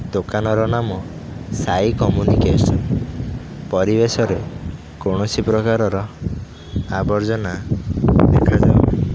ଦୋକାନ ର ନାମ ସାଇ କମ୍ୟୁନିକେସନ ପରିବେଶରେ କୌଣସି ପ୍ରକାରର ଆବର୍ଜନା ଦେଖାଯାଉ ନାହିଁ।